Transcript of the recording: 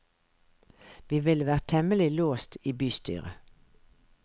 Vi ville vært temmelig låst i bystyret.